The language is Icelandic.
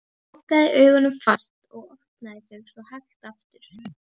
Hún lokaði augunum fast og opnaði þau svo hægt aftur.